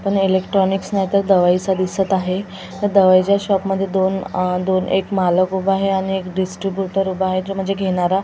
पण इलेक्ट्रॉनिक्स नाहीतर दवाईचा दिसत आहे त्या दवाईच्या शॉप मध्ये दोन अ दोन एक मालक उभा आहे आणि एक डिस्ट्रिब्युटर उभा आहे जॉ म्हणजे घेणारा.